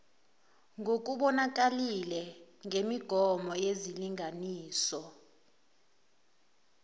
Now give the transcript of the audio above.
nokubonakalile ngemigomo yezilinganiso